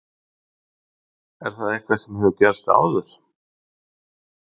Er það eitthvað sem hefur gerst áður?